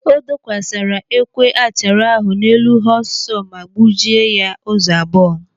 O dokwasara ekwe achara ahụ n'elu họọs sọọ ma gbujie ya ụzọ abụọ.